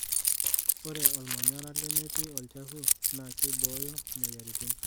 Ore olmanyara lemetii olchafu naa keibooyo moyiaritin.